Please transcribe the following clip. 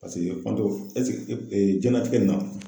Paseke jiyɛnlatigɛ in na